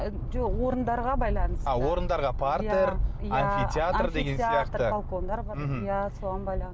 жоқ орындарға байланысты а орындарға партер амфитеатр деген сияқты балкондар бар иә соған